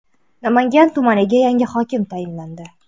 Namangan tumaniga yangi hokim tayinlandi.